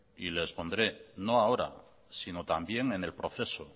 y le expondré no ahora sino también en el proceso